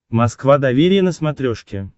москва доверие на смотрешке